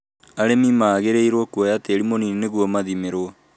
Arĩmi magĩrĩirwo kũoya tĩĩri mũnini nĩguo mathimĩrũo